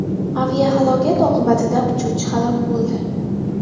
Aviahalokat oqibatida uchuvchi halok bo‘ldi.